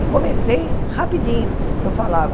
E comecei rapidinho, eu falava,